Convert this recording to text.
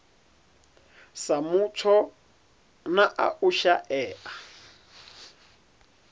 sa mutsho na u shaea